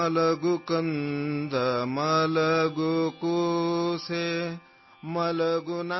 Kannada Sound Clip 35 seconds